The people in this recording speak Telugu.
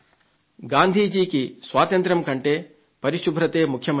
గాంధీ జీ కి స్వాతంత్య్రం కంటే పరిశుభ్రతే ముఖ్యమైంది